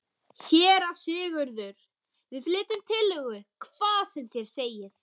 SÉRA SIGURÐUR: Við flytjum tillögu, hvað sem þér segið.